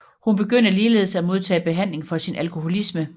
Hun begyndte ligeledes at modtage behandling for sin alkoholisme